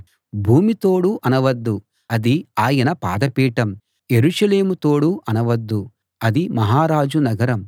భూమి తోడు అనవద్దు అది ఆయన పాదపీఠం యెరూషలేము తోడు అనవద్దు అది మహారాజు నగరం